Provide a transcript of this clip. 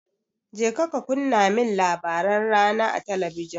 Kaje ka kunna min labaran rana a talabijin.